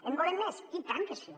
en volem més i tant que sí